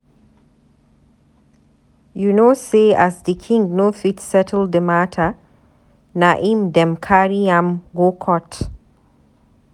You know sey as di king no fit settle di mata, na im dem carry am go court.